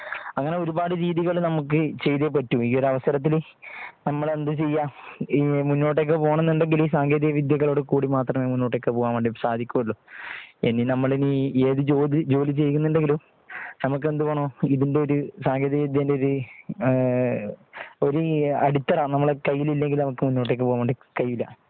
അങ്ങനെ ഒരുപാട് രീതികൾ നമുക്ക് ചെയ്തേ പറ്റൂ ഈയൊരു അവസരത്തിൽ നമ്മൾ എന്ത് ചെയ്യാ മുന്നോട്ടേക്ക് പോകണം എന്നുണ്ടെങ്കിൽ സാങ്കേതികവിദ്യകളോട് കൂടി മാത്രമേ മുന്നോട്ടേക്ക് പോകാൻ വേണ്ടി സാധിക്കുകയുള്ളൂ ഇനി നമ്മൾ ഇനി ഏത് ജോലി ചെയ്യുന്നുണ്ടെങ്കിലും നമുക്ക് എന്ത് വേണം ഇതിന്റെ ഒരു സാങ്കേതികവിദ്യന്റെ ഒരു ഒരു അടിത്തറ നമുക്ക് കയ്യിൽ ഇല്ലെങ്കിൽ മുന്നോട്ട് പോകാൻ കഴിയില്ല .